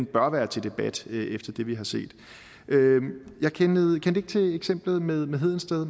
bør være til debat efter det vi har set jeg kendte ikke til eksemplet med med hedensted